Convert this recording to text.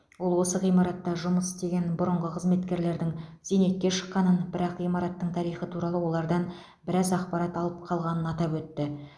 ол осы ғимаратта жұмыс істеген бұрынғы қызметкерлердің зейнетке шыққанын бірақ ғимараттың тарихы туралы олардан біраз ақпарат алып қалғанын атап өтті